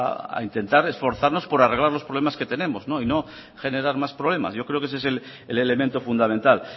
a intentar esforzarnos por arreglar los problemas que tenemos y no generar más problemas yo creo que ese el elemento fundamental